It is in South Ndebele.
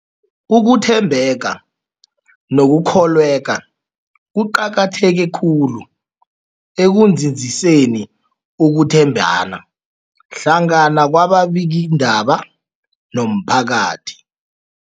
Ukuthembeka nokukholweka kuqakatheke khulu ekunzinziseni ukuthembana hlangana kwababikiindaba nomphakathi.